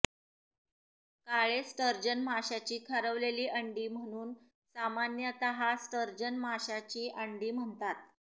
काळे sturgeon माशाची खारवलेली अंडी म्हणून सामान्यतः स्टर्जन माशा च्या अंडी म्हणतात